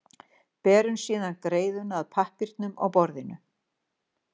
Berum síðan greiðuna að pappírnum á borðinu.